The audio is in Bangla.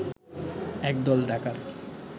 এক দল ডাকাত